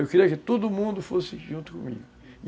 Eu queria que todo mundo fosse junto comigo, uhum.